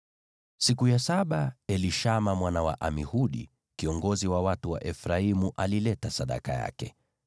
Siku ya saba Elishama mwana wa Amihudi, kiongozi wa watu wa Efraimu, alileta sadaka yake.